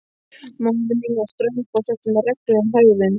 Móðir mín var ströng og setti mér reglur um hegðun.